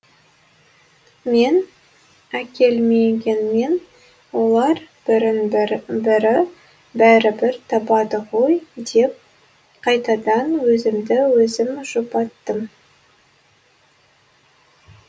мен әкелмегенмен олар бірін бірі бәрібір табады ғой деп қайтадан өзімді өзім жұбаттым